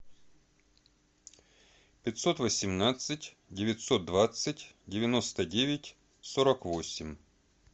пятьсот восемнадцать девятьсот двадцать девяносто девять сорок восемь